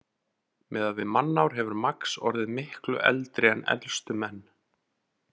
Miðað við mannár hefur Max orðið miklu eldri en elstu menn.